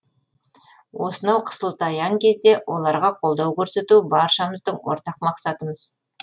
осынау қысылтаяң кезде оларға қолдау көрсету баршамыздың ортақ мақсатымыз